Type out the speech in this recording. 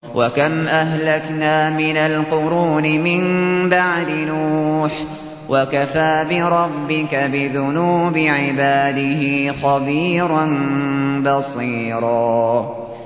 وَكَمْ أَهْلَكْنَا مِنَ الْقُرُونِ مِن بَعْدِ نُوحٍ ۗ وَكَفَىٰ بِرَبِّكَ بِذُنُوبِ عِبَادِهِ خَبِيرًا بَصِيرًا